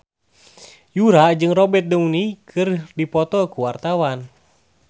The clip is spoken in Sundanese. Yura jeung Robert Downey keur dipoto ku wartawan